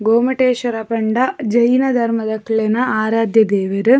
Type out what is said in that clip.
ಗೋಮಟೇಶ್ವರ ಪಂಡ ಜೈನ ಧರ್ಮದಕ್ಲೆನ ಆರಾದ್ಯ ದೇವೆರ್.